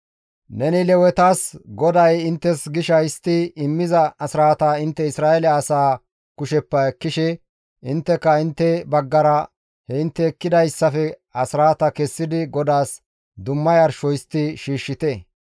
«Neni Lewetas, ‹GODAY inttes gisha histti immiza asraata intte Isra7eele asaa kusheppe ekkishe intteka intte baggara he intte ekkidayssafe asraata kessidi GODAAS dumma yarsho histti shiishshite.